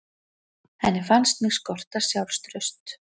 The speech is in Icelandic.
Henni fannst mig skorta sjálfstraust.